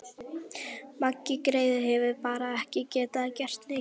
Maggi greyið hefur bara ekki getað gert neitt.